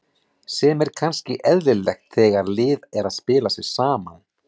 Sem er kannski eðlilegt þegar lið er að spila sig saman.